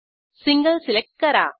single select करा